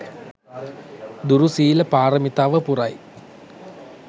දුරු සීල පාරමිතාව පුරයි.